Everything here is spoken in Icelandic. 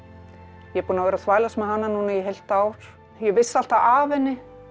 ég er búin að vera að þvælast með hana núna í heilt ár ég vissi alltaf af henni